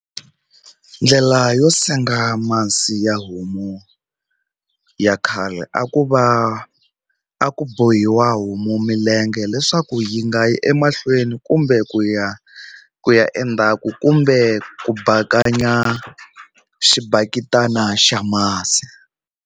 Ndlela yo senga masi ya homu ya khale a ku va a ku bohiwa homu milenge leswaku yi nga yi emahlweni kumbe ku ya ku ya endzhaku kumbe ku bakanya xibaketana xa masi.